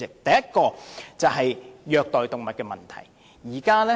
第一點是虐待動物的問題。